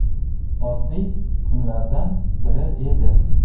Oddiy kunlardan biri edi.